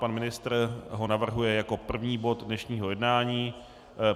Pan ministr ho navrhuje jako první bod dnešního jednání.